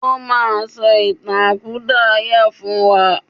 O máa sọ ìtàn àkúdàáyà fún wa.